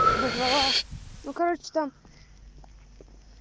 назвала ну короче там